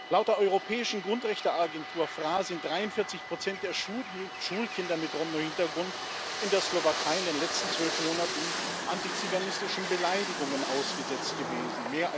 Laut der europäischen Grundrechteagentur FRA sind 43 der Schulkinder mit Romno Hintergrund in der Slowakei in den letzten zwölf Monaten antiziganistischen Beleidigungen ausgesetzt gewesen.